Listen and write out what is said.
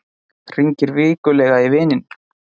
Hringir vikulega í vininn